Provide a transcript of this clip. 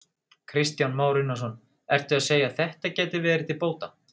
Kristján Már Unnarsson: Ertu að segja að þetta gæti verið til bóta?